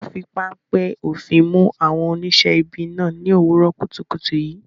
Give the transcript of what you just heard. Wọn fi páńpẹ́ òfin mú àwọn oníṣẹ́ ibi náà ní òwúrọ̀ kùtùkùtù yìí.